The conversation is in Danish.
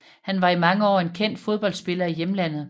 Han var i mange år en kendt fodboldspiller i hjemlandet